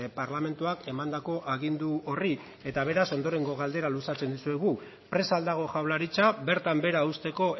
parlamentuak emandako agindu horri eta beraz ondorengo galdera luzatzen dizuegu prest ahal dago jaurlaritza bertan behera uzteko